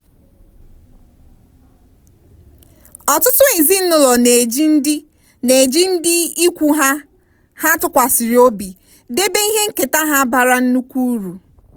ọtụtụ ezinụlọ na-eji ndị na-eji ndị ikwu ha ha tụkwasịrị obi debe ihe nketa ha bara nnukwu uru.